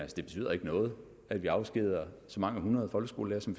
betyder noget at vi afskediger så mange hundrede folkeskolelærere som